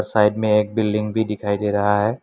Side में एक building भी दिखाई दे रहा है।